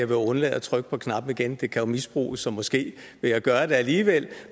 vil undlade at trykke på knappen igen det kan jo misbruges så måske vil jeg gøre det alligevel